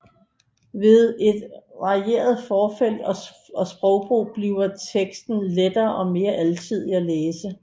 Ved et varieret forfelt og sprogbrug bliver teksten lettere og mere alsidig at læse